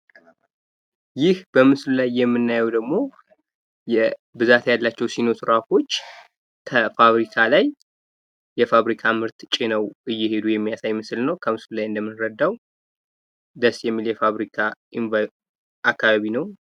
ይህ በምስሉ ላይ የምናየው ደሞ ብዛት ያላቸው ሴኖ ትራኮች ከፋብሪካ ላይ የፋብሪካ ምርት ጭነው እየሄዱ የሚያሳይ ምስል ነው ከምስሉ ላይ እንደምንረዳው። ደስ የሚል የፋብሪካ አከባቢ ነው።